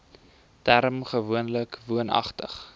term gewoonlik woonagtig